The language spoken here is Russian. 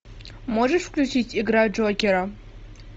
можешь включить игра джокера